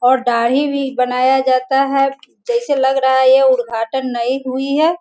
और दारिह भी बनाया जाता है जैसे लग रहा है ये उद्घाटन नयी हुई है।